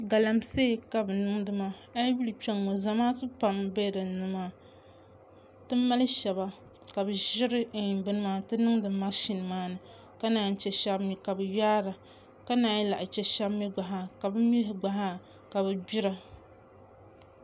Galamsee ka bi niŋdi maa ayi yuli kpɛŋŋo zamaatu pam n bɛ dinni maa ti mali shaba ka bi ʒiri binna n ti niŋdi mashin maa ni ka naan chɛ shab mii ka bi yaara ka naan lahi chɛ shab mii gba zaa ka bi mii gba zaa ka bi gbira